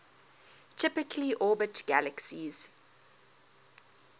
typically orbit galaxies